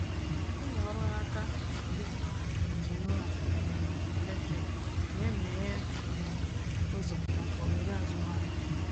Ịmụ ọrụ n’aka dịka injinia um eletrik na-emeghe um ụzọ maka ohere azụmahịa.